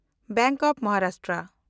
bank of Maharashtra